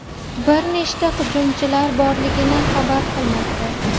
bir nechta hujumchilar borligini xabar qilmoqda.